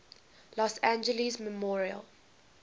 los angeles memorial